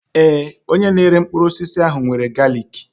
Ee, onye na-ere mkpụrụ osisi ahụ nwere galiki.